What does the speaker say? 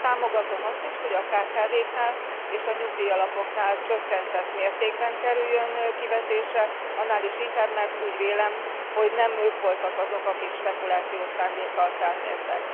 Támogatom azt is, hogy a kkv knál és a nyugdíjalapoknál csökkentett mértékben kerüljön kivetésre, annál is inkább, mert úgy vélem, hogy nem ők voltak azok, akik spekulációs szándékkal felmértek.